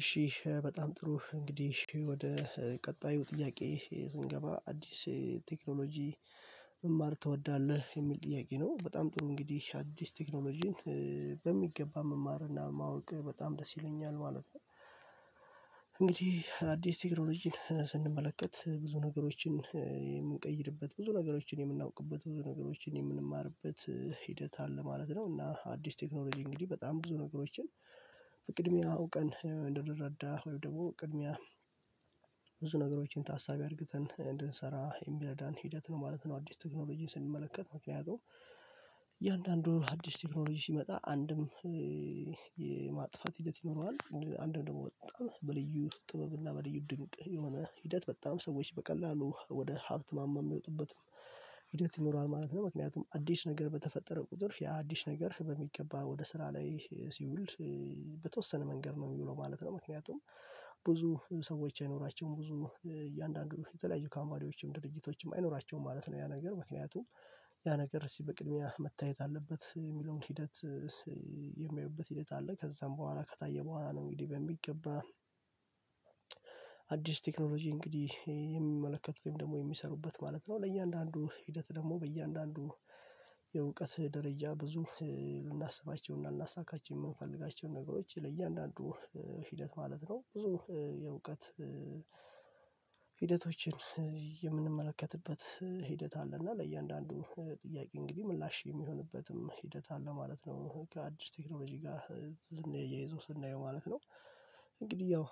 እሺ በጣም ጥሩ እንግዲህ ወደ ቀጣዩ ጥያቄ ስንገባ አዲስ ቴክኖሎጂ መማር ትወዳለህ የሚል ጥያቄ ነው? በጣም ጥሩ እንግዲህ አዲስ ቴክኖሎጂን በሚገባ መማርና ማወቅ በጣም ደስ ይለኛል ማለት ነው። እንግዲህ አዲስ ቴክኖሎጂን ስንመለከት ብዙ ነገሮችን የምንቀይርበት ብዙ ነገሮችን የምናውቅበት ብዙ ነገሮችን የምንማርበት ሂደት አለ ማለት ነው። እና አዲስ ቴክኖሎጂ እንግዲህ በጣም ብዙ ነገሮችን ቅድሚያ አውቀን እንደንረዳ ወይም ደግሞ ቅድሚያ ብዙ ነገሮችን ታሳቢ አድርግተን እንድንሰራ የሚረዳን ሂደት ነው ማለት ነው። አዲስ ቴክኖሎጂን ስንመለከት ያው እያንዳንዱ አዲስ ቴክኖሎጂ ሲመጣ አንድም የማጥፋት ሂደት ይኖረዋል አንድ ደግሞ በጣም በልዩ ጥበብ እና በልዩ ድንቅ የሆነ ሂደት በጣም ሰዎች በቀላሉ ወደ ሀብት ማማ የሚወጡበትም ሂደት ይኖረዋል ማለት ነው። ምክንያቱም አዲስ ነገር በተፈጠረ ቁጥር ያ አዲስ ነገር በሚገባ ወደ ስራ ላይ ሲውል በተወሰነ መንገድ ነው የሚውለው ማለት ነው። ምክንያቱም ብዙ ሰዎች የኖራቸው ብዙም እያንዳንዱ የተለያዩ ካምፓኒዎችም ድርጅቶችም አይኖራቸውም ማለት ነው ያ ነገር ምክንያቱም ያ ነገር እስቲ በቅድሚያ መታየት አለበት የሚለውን ሂደት ሂደት አለ ከዛም በኋላ ከታየ በኋላ ነው። እንግዲህ በሚገባ አዲስ ቴክኖሎጂ እንግዲህ የሚመለከት ወይም ደግሞ የሚሰሩበት ማለት ነው ለእያንዳንዱ ሂደት ደግሞ በእያንዳንዱ የእውቀት ደረጃ ብዙ ልናስባቸውና ልናሳካቸው የምንፈልጋቸው ነገሮች ለእያንዳንዱ ሂደት ማለት ነው ብዙ የእውቀት ሂደቶችን የምንመለከትበት ሂደት አለ እና ለእያንዳንዱ ጥያቄ እንግዲህ ምላሽ የሚሆንበትም ሂደት አለ ማለት ነው። ከአዲስ ቴክኖሎጂ ጋር ስናያይዘው ስናየው ማለት ነው እንግዲህ ያው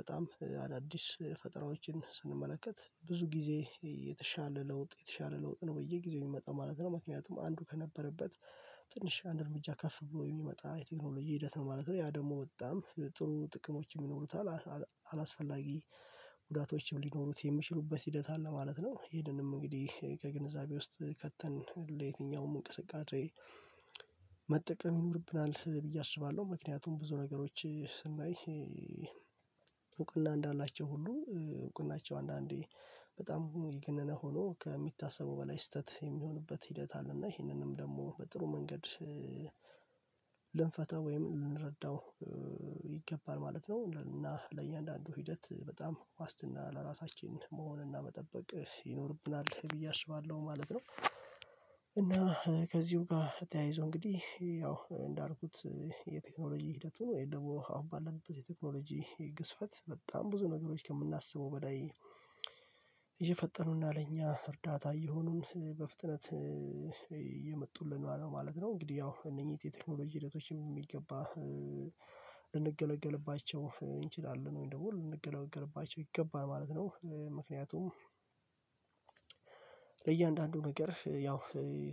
በጣም አዳዲስ ፈጠራዎችን ስንመለከት ብዙ ጊዜ የተሻለ ለውጥ የተሻለ ለውጥ ነው በየጊዜው የሚመጣው ማለት ነው ምክንያቱም አንዱ ከነበረበት ትንሽ አንድ እርምጃ ከፍ በው የሚመጣ የቴክኖሎጂ ሂደት ነው ማለት ነው። ያ ደግሞ በጣም ጥሩ ጥቅሞች ይኖሩታል አላስፈላጊ ጉዳቶችም ሊኖሩት የሚችሉበት ሂደት አለ ማለት ነው። ይሄንንም እንግዲህ ከግንዛቤ ውስጥ ከተን ለየትኛውም እንቅስቃሴ መጠቀም ይኖርብናል ብዬ አስባለሁ። ምክንያቱም ብዙ ነገሮች ስናይ እውቅና እንዳላቸው ሁሉ እውቅናቸው አንዳንዴ በጣም የገነነ ሆኖ ከሚታሰበው በላይ ስህተት የሚሆንበት ሂደት አለ እና ይህንንም ደግሞ በጥሩ መንገድ ልንፈተው ወይም ልንረዳው ይገባል ማለት ነው። እና ለእያንዳንዱ ሂደት በጣም ዋስትና ለራሳችን መሆንና መጠበቅ ይኖርብናል ብዬ አስባለሁ ማለት ነው። እና ከዚሁ ጋር ተያይዞ እንግዲህ ያው እንዳልኩት የቴክኖሎጂ ሂደቱ ነው ወይስ ደግሞ አሁን ባለበት የቴክኖሎጂ ግዝፈት በጣም ብዙ ነገሮች ከምናስበው በላይ እየፈጠኑና ለእኛ እርዳታ እየሆኑን በፍጥነት እየመጡልን ነው ማለት ነው እንግዲህ ያው እነኚህ የቴክኖሎጂ ሂደቶችም የሚገባ ልንገለገልባቸው እንችላለን ወይ ደግሞ ልንገለገልባቸው ይገባል ማለት ነው። ምክንያቱም ለእያንዳንዱ ነገር ያው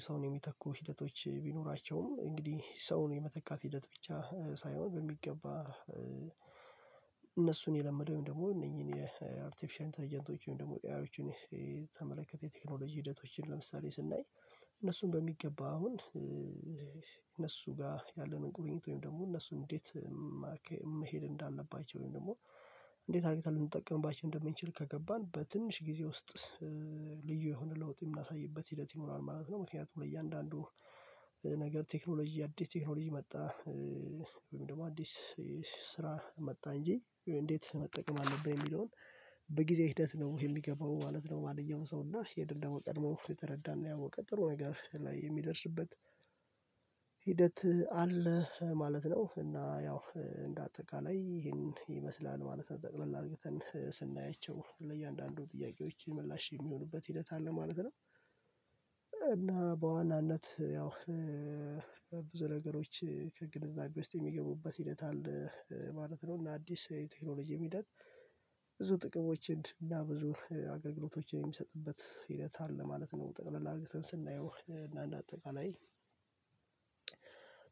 ሰውን የሚተኩ ሂደቶች ቢኖራቸውም እንግዲህ ሰውን የመተካት ሂደት ብቻ ሳይሆን በሚገባ እነሱን የለመደውን ደግሞ እነኚህን የአርቲፊሻል ኢንተርጀንቶችን ደግሞ ኤአዮችን ተመልክተን የቴክኖሎጂ ሂደቶችን ለምሳሌ ስናይ እነሱን በሚገባ አሁን እነሱ ጋር ያለንን ቁርኝት ወይም ደግሞ እነሱ እንዴት መሄድ እንዳለባቸው ወይም ደግሞ እንዴት አድርግተል ልንጠቀምባቸውም እንደምንችል ከገባን በትንሽ ጊዜ ውስጥ ልዩ የሆነ ለውጥ የምናሳይበት ሂደት ይኖራል ማለት ነው። ምክንያቱም ለእያንዳንዱ ነገር ቴክኖሎጂ አዲስ ቴክኖሎጂ መጣ ወይም ደግሞ አዲስ ስራ መጣ እንጂ እንዴት መጠቀም አለብን የሚለውን በጊዜ ሒደት ነው የሚገባው ማለት ነው። ማንኛውም ሰው እና ይሄንን ደግሞ ቀድሞ የተረዳና ያወቀ ጥሩ ነገር ላይ የሚደርስበት ሂደት አለ ማለት ነው። እና ያው እንደ አጠቃላይ ይሄንን ይመስላል ማለት ነው ጠቅለል አድርገን ስናያቸው ለእያንዳንዱ ጥያቄዎች ምላሽ የሚሆኑበት ሂደት አለ ማለት ነው። እና በዋናነት ያው ብዙ ነገሮች ከግንዛቤ ውስጥ የሚገቡበት ሂደት አለ ማለት ነው እና አዲስ የቴክኖሎጂ ሂደት ብዙ ጥቅሞችን እና ብዙ አገልግሎቶችን የሚሰጥበት ሂደት አለ ማለት ነው። ጠቅለል አድርገን ስናየው እና አንድ አጠቃላይ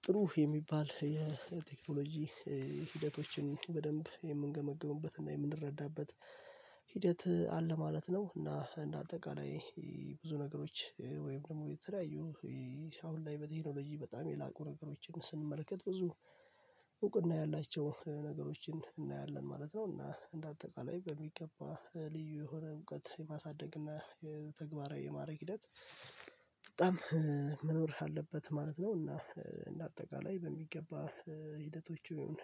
ጥሩ የሚባል የቴክኖሎጂ ሂደቶችን በደንብ የምንገመግምበት እና የምንረዳበት ሂደት አለ ማለት ነው። እና እንደ አጠቃላይ ብዙ ነገሮች ወይም ደግሞ የተለያዩ አሁን ላይ በቲክኖሎጂ በጣም የላቁ ነገሮችን ስንመለከት ብዙ እውቅና ያላቸው ነገሮችን እናያለን ማለት ነው። እና እንደ አጠቃላይ በሚገባ ልዩ የሆነ እውቀት የማሳደግ እና የተግባራዊ የማድረግ ሂደት በጣም መኖር አለበት ማለት ነው። እና እንደ አጠቃላይ በሚገባ ሂደቶቹ ይህን